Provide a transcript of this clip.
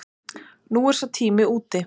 Nú er sá tími úti.